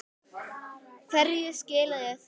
Hverju skilaði það?